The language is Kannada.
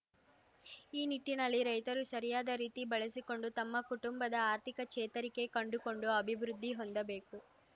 ಈ ನಿಟ್ಟಿನಲ್ಲಿ ರೈತರು ಸರಿಯಾದ ರೀತಿ ಬಳಸಿಕೊಂಡು ತಮ್ಮ ಕುಟುಂಬದ ಆರ್ಥಿಕ ಚೇತರಿಕೆ ಕಂಡುಕೊಂಡು ಅಭಿವೃದ್ಧಿ ಹೊಂದಬೇಕು